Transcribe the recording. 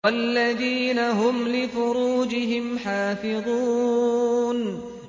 وَالَّذِينَ هُمْ لِفُرُوجِهِمْ حَافِظُونَ